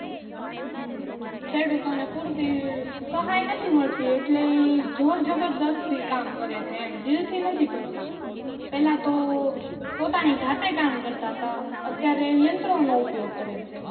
હમ ખેડૂતો ને પૂરતી સહાય નથી મળતી એટલે ઈ જોરજબરજ્સ્તી કામ કરે છે એમ દિલ થી નથી કરતા પેલા તો પોતાની જાતે કામ કરતા તા અત્યારે ઈ યંત્રો નો ઉપયોગ કરે છે